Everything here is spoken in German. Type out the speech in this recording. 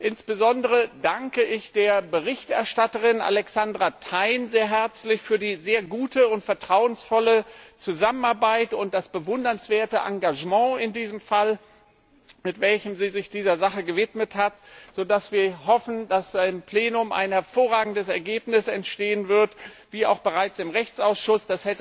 Insbesondere danke ich der Berichterstatterin Alexandra Thein sehr herzlich für die sehr gute und vertrauensvolle Zusammenarbeit und das bewundernswerte Engagement in diesem Fall, mit welchem sie sich dieser Sache gewidmet hat, so dass wir hoffen, dass im Plenum ein hervorragendes Ergebnis zustande kommt, wie auch bereits im Rechtsausschuss.